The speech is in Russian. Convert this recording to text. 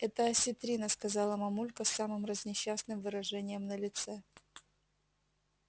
это осетрина сказала мамулька с самым разнесчастным выражением на лице